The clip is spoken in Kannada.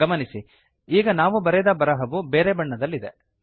ಗಮನಿಸಿ ಈಗ ನಾವು ಬರೆದ ಬರಹವು ಬೇರೆ ಬಣ್ಣದಲ್ಲಿದೆ